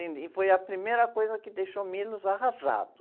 E foi a primeira coisa que deixou o arrasado.